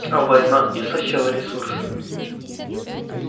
а война истощала ресурсы